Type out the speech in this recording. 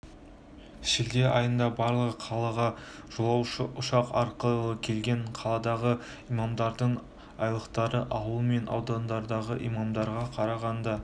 шілде айында барлығы қалаға жолаушы ұшақ арқылы келген қаладағы имамдардың айлықтары ауыл мен аудандардағы имамдарға қарағанда